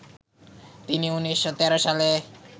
তিনি ১৯১৩ সালে